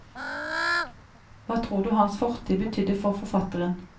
Hva tror du hans fortid betydde for forfatteren?